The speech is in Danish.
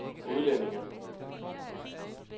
udlændinge